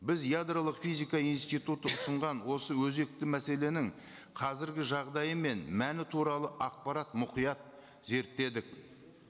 біз ядролық физика институты ұсынған осы өзекті мәселенің қазіргі жағдайы мен мәні туралы ақпарат мұқият зерттедік